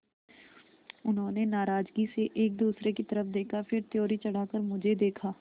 उन्होंने नाराज़गी से एक दूसरे की तरफ़ देखा फिर त्योरी चढ़ाकर मुझे देखा